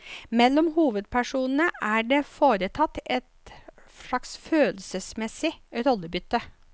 Mellom hovedpersonene er det foretatt et slags følelsesmessig rollebytte.